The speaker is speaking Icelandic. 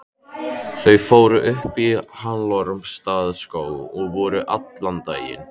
Þau fóru upp í Hallormsstaðarskóg og voru allan daginn.